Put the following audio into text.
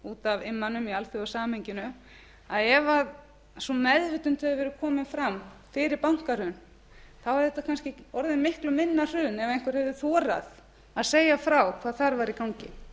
út af immanum í alþjóðasamhenginu ef sú meðvitund hefði verið komið fram fyrir bankahrun þá hefði þetta kannski orðið miklu minna hrun ef einhver hefði þorað að segja frá hvað þar væri í gangi